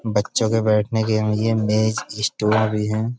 बच्चो के बैठने के लिए मेज स्टूल भी हैं।